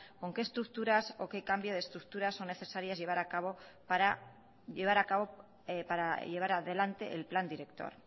con qué estructuras o qué cambio de estructuras son necesarias para llevar adelante el plan director